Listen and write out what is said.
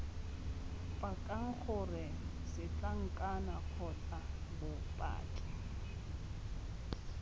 pakang gore setlankana kgotsa bopaki